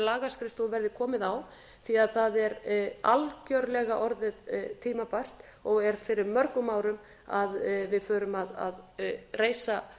lagaskrifstofu verði komið á því að það er algjörlega orðið tímabært og er fyrir mörgum árum að við förum að reisa